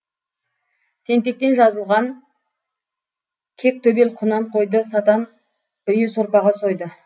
тентектен жазылған кек төбел құнан қойды сатан үйі сорпаға сойды